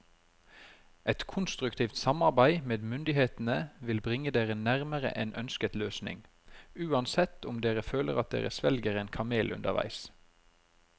Et konstruktivt samarbeid med myndighetene vil bringe dere nærmere en ønsket løsning, uansett om dere føler at dere svelger en kamel underveis.